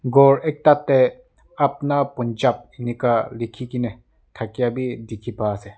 ghor ekta tey Apuna Ponjab enika likhikena thakia bi dikhi pai ase.